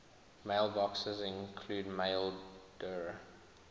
mailboxes include maildir